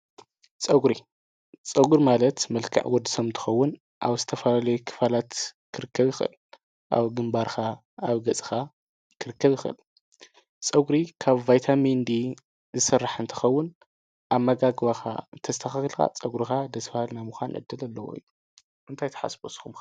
ፀጕሪ፡- ፀጕሪ ማለት መልክዕ ወዲ ሰብ እንትኸውን ኣብ ዝተፋላለዩ ክፋላት ክርከብ ይኽእል፡፡ ኣብ ግምባርካ ፣ኣብ ገፅኻ ክርከብ ይኽእል፡፡ ፀጕሪ ካብ ባይታሚን ዲ ዝስራሕ እንተኸውን ኣመጋግባኻ ተስተኻኺልካ ፀጕሩካ ደስ ባሃሊ ናየ ምዃን ዕደል ኣለዎ አዩ፡፡ እንታይ ተሓስቡ ንስኹም ከ?